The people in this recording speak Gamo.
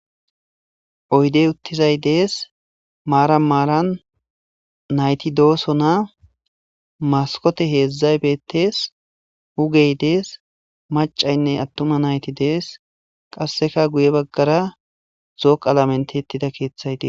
oydey uttizay dees maaran maaran nayti dooso na maskote heedzdzay bettees wugey dees macaynne attuma nayti dees qasseka guye baggara zooqa lamentettida keeththayte